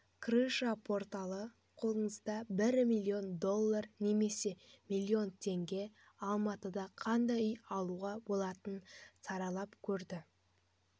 крыша порталы қолыңызда бір миллион доллар немесе миллион теңгеге алматыда қандай үй алуға болатынын саралап көрді